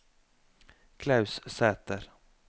Klaus Sæther